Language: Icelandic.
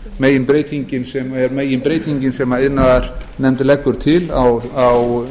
það er önnur meginbreytingin sem iðnaðarnefnd leggur til